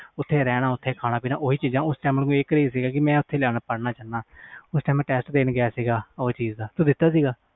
ਓਥੇ ਰਹਿਣ ਖਾਣਾ ਪੀਣਾ ਓਥੇ ਉਸ time ਮੈਨੂੰ ਆਹ craze ਸੀ ਕਿ ਮੈਂ ਓਥੇ ਪੜ੍ਹਨਾ ਮੈਂ test ਦੇਣ ਗਿਆ ਉਹ ਚੀਜ਼ ਦਾ